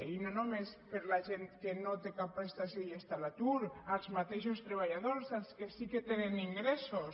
i no només per la gent que no té cap prestació i està a l’atur els mateixos treballadors els que sí que tenen ingressos